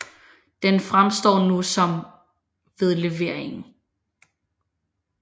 Den fremstår nu som ved leveringen